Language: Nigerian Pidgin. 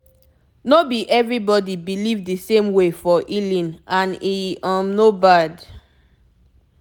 no be everybody believe the same way for healing and e um no bad